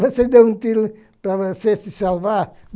Você deu um tiro para você se salvar.